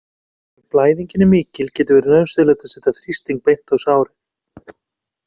Ef blæðingin er mikil getur verið nauðsynlegt að setja þrýsting beint á sárið.